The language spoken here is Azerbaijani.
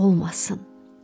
quşun olmasın.